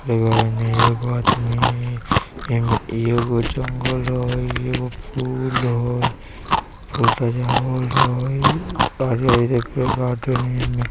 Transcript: में एगो आदमी ए में एगो जंगल हई एगो फूल हई फूल सजावल हई --